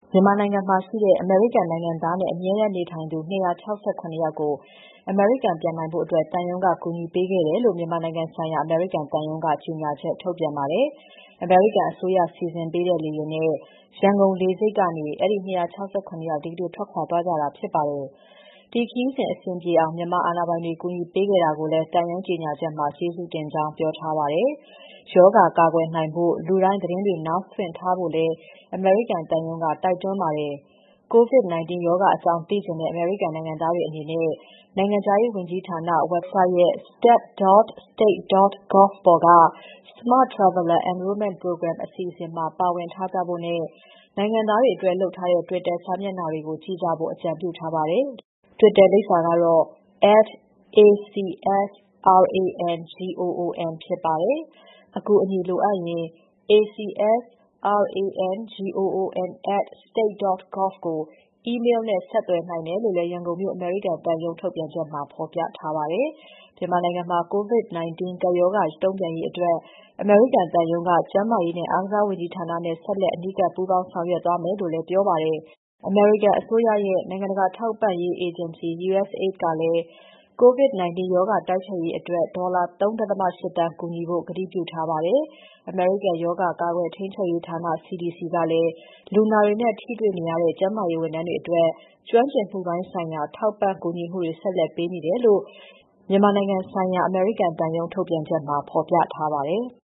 မြန်မာနိုင်ငံမှာရှိနေတဲ့ အမေရိကန်နိုင်ငံသားနဲ့ အမြဲတမ်းနေထိုင်သူ ၂၆၇ ယောက်ကို အမေရိကန်ပြန်နိုင်ဖို့ သံရုံးက ကူညီပေးခဲ့တယ်လို့ မြန်မာနိုင်ငံဆိုင်ရာ အမေရိကန်သံရုံးက ကြေညာချက်ထုတ်ပြန်ပါတယ်။ အမေရိကန်အစိုးရ စီစဉ်ပေးတဲ့ လေယာဉ်နဲ့ ရန်ကုန်လေဆိပ်ကနေ အဲဒီ ၂၆၇ ယောက် ဒီကနေ့ထွက်ခွာသွားကြတာ ဖြစ်ပါတယ်။ ဒီခရီးစဉ်အဆင်ပြေအောင် မြန်မာအာဏာပိုင်တွေ ကူညီပေးခဲ့တာကိုလည်း သံရုံးကြေညာချက်မှာ ကျေးဇူးတင်ကြောင်း ပြောထားပါတယ်။ ရောဂါကာကွယ်နိုင်ဖို့ လူတိုင်းသတင်းတွေ နားစွင့်ထားဖို့လည်း အမေရိကန်သံရုံးက တိုက်တွန်းပါတယ်။ COVID-19 ရောဂါအကြောင်း သိချင်တဲ့ အမေရိကန်နိုင်ငံသားတွေအနေနဲ့ နိုင်ငံခြားရေးဝန်ကြီးဌာန website ရဲ့ step.state.gov မှာ Smart Traveler Enrollment Program အစီအစဉ်မှာ ပါဝင်ထားကြဖို့နဲ့ နိုင်ငံသားတွေအတွက် လုပ်ထားတဲ့ Twitter စာမျက်နှာတွေကို ကြည့်ကြဖို့ အကြံပြုထားပါတယ်။ Twitter လိပ်စာက @ACSRangoon ဖြစ်ပါတယ်။ အကူအညီလိုအပ်ရင် acsrangoon@state.gov ကို အီးမေးလ်နဲ့ဆက်သွယ်နိုင်တယ်လို့လည်း ရန်ကုန်မြို့ အမေရိကန်သံရုံးထုတ်ပြန်ချက်မှာ ဖော်ပြထားပါတယ်။ မြန်မာနိုင်ငံမှာ COVID-19 ကပ်ရောဂါ တုံ့ပြန်ရေးအတွက် အမေရိကန်သံရုံးက ကျန်းမာရေးနဲ့ အားကစားဝန်ကြီးဌာနနဲ့ ဆက်လက် အနီးကပ် ပူးပေါင်းဆောင်ရွက်သွားမယ်လို့လည်း ပြောထားပါတယ်။ အမေရိကန်အစိုးရရဲ့ နိုင်ငံတကာ ထောက်ပံ့ရေးအေဂျင်စီ USAID ကလည်း COVID 19 ရောဂါတိုက်ဖျက်ရေးအတွက် ဒေါ်လာ ၃.၈ သန်း ကူညီဖို့ ကတိပြုထားပါတယ်။ အမေရိကန်ရောဂါ ကာကွယ်ထိန်းချုပ်ရေးဌာန CDC ကလည်း လူနာတွေနဲ့ထိတွေ့နေရတဲ့ ကျန်းမာရေးဝန်ထမ်းတွေအတွက် ကျွမ်းကျင်မှုပိုင်းဆိုင်ရာ ထောက်ပံ့ကူညီမှုတွေ ဆက်လက်ပေးနေတယ်လို့ သံရုံး ထုတ်ပြန်ချက်မှာ ဖော်ပြထားပါတယ်။